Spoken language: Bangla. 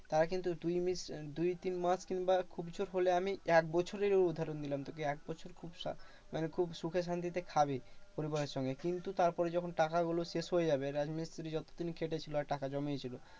তারা কিন্তু দুই দুই তিন মাস কিংবা খুব জোর হলে আমি এক বছরেরও উদাহরণ দিলাম তোকে। একবছর সংসার মানে খুব সুখে শান্তিতে খাবে পরিবারের সঙ্গে। কিন্তু তারপরে যখন টাকাগুলো শেষ হয়ে যাবে রাজমিস্ত্রি যতদিন খেটেছিলো আর টাকা জমিয়েছিল